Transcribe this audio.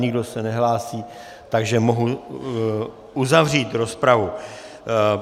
Nikdo se nehlásí, takže mohu uzavřít rozpravu.